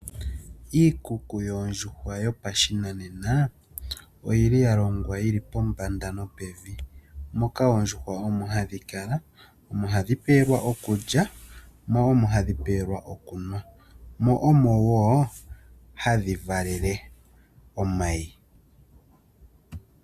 Iikuku yoondjuhwa yo pashinanena, oyi li ya longwa pombanda no pevi. Moka oondjuhwa omo hadhi kala no mo hadhi pewelwa iikulya. Mo omo hadhi pewelwa okulya, mo omo wo hadhi valele omayi.